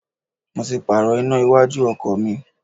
Mo ti Pààrọ̀ iná iwájú ọkọ̀ mi